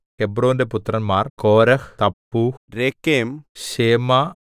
ഹെബ്രോന്റെ പുത്രന്മാർ Korah Tappuah Rekem ശേമാ